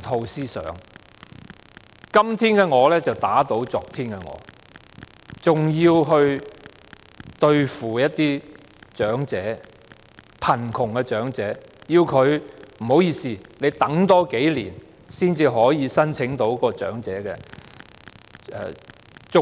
套思想也轉變了，今天的我打倒昨天的我，還要想辦法對付貧窮的長者，要他們多等數年才可以申請長者綜援。